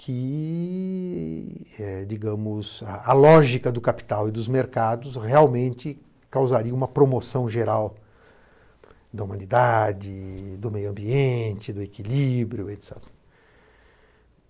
que é digamos, a lógica do capital e dos mercados realmente causaria uma promoção geral da humanidade, do meio ambiente, do equilíbrio.